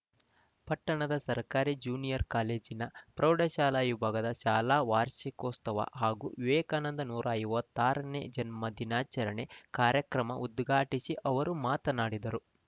ಪಟ್ಟಣದ ಸರ್ಕಾರಿ ಜೂನಿಯರ್‌ ಕಾಲೇಜಿನ ಪ್ರೌಢಶಾಲಾ ವಿಭಾಗದ ಶಾಲಾ ವಾರ್ಷಿಕೋತ್ಸವ ಹಾಗೂ ವಿವೇಕಾನಂದರ ನೂರ ಐವತ್ತಾರನೇ ಜನ್ಮ ದಿನಾಚರಣೆ ಕಾರ್ಯಕ್ರಮ ಉದ್ಘಾಟಿಸಿ ಅವರು ಮಾತನಾಡಿದರು